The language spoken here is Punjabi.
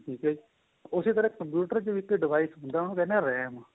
ਠੀਕ ਏ ਜੀ ਉਸੇ ਤਰ੍ਹਾਂ computer ਵਿੱਚ ਵੀ ਇੱਕ device ਹੁੰਦਾ ਉਹਨੂੰ ਕਹਿੰਦੇ ਹਾਂ RAM